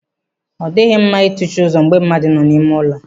Ọ dịghị mma ị tụchi ụzọ mgbe mmadụ nọ n'ime ụlọ.